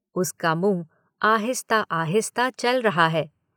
उसका मुंह आहिस्ता आहिस्ता चल रहा है।